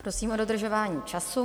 Prosím o dodržování času.